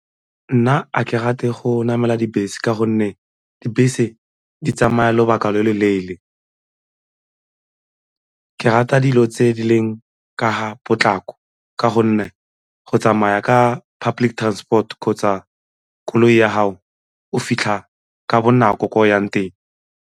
Nna a ke rate go namela dibese ka gonne dibese di tsamaya lobaka lo lo leele, ke rata dilo tse di leng ka ga potlako ka gonne go tsamaya ka public transport kgotsa koloi ya gago o fitlha ka bonako ko o yang teng.